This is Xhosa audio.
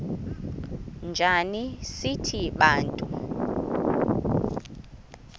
njana sithi bantu